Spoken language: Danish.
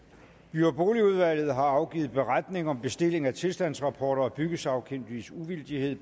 by og boligudvalget har afgivet beretning om bestilling af tilstandsrapporter og byggesagkyndiges uvildighed